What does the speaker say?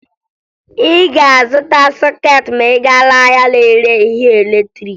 Ị ga-azụta sọkeetị ma ị gaa n'ahịa na-ere ihe latrịịkị